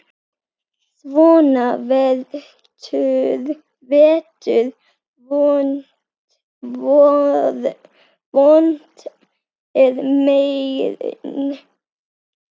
Svona vetur vont er mein.